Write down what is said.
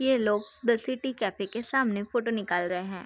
ये लोग the city cafe के सामने फोटो निकाल रहे हैं।